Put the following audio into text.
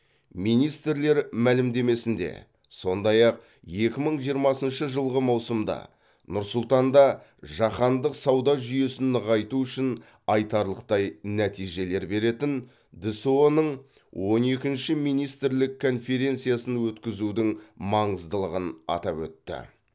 министрлер мәлімдемесінде сондай ақ екі мың жиырмасыншы жылғы маусымда нұр сұлтанда жаһандық сауда жүйесін нығайту үшін айтарлықтай нәтижелер беретін дсұ ның он екінші министрлік конференциясын өткізудің маңыздылығын атап өтті